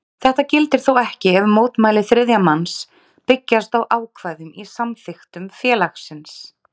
Þetta gildir þó ekki ef mótmæli þriðja manns byggjast á ákvæðum í samþykktum félagsins.